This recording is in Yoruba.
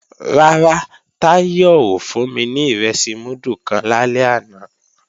Rárá, Táyọ̀ ò fún mi ní ìrẹsì múdù kan lálẹ́ àná